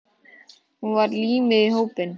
Hún var límið í hópnum.